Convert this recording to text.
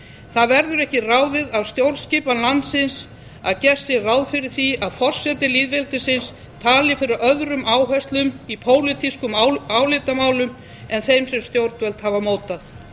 það verður ekki ráðið af stjórnskipan landsins að gert sé ráð fyrir því að forseti lýðveldisins tali fyrir öðrum áherslum í pólitískum álitamálum en þeim sem stjórnvöld hafa mótað